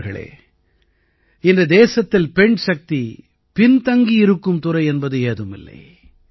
நண்பர்களே இன்று தேசத்தில் பெண்சக்தி பின்தங்கி இருக்கும் துறை என்பது ஏதும் இல்லை